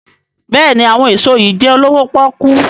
béèni àwọn èso yí jé olowo poku.